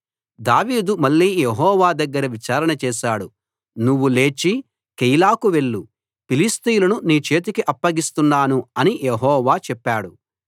దావీదు మళ్ళీ యెహోవా దగ్గర విచారణ చేశాడు నువ్వు లేచి కెయీలాకు వెళ్లు ఫిలిష్తీయులను నీ చేతికి అప్పగిస్తున్నాను అని యెహోవా చెప్పాడు